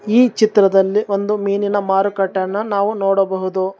ಈ ಚಿತ್ರದಲ್ಲಿ ಒಂದು ಮೀನಿನ ಮಾರುಕಟ್ಟೆಯನ್ನು ನಾವು ನೋಡಬಹುದು.